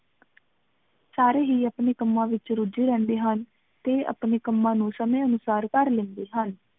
ਸਾਰੇ ਹੀ ਅਪਣੇ ਕੰਮਾਂ ਵਿਚ ਰੁਝੇ ਰਹਿੰਦੇ ਹਨ ਤੇ ਅਪਣੇ ਕੰਮਾ ਨੂ ਸਮੇ ਅਨੁਸਾਰ ਕਰ ਲੈਂਦੇ ਹਨ